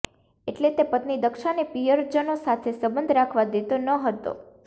એટલે તે પત્ની દક્ષાને પિયરજનો સાથે સંબંધ રાખવા દેતો ન હતો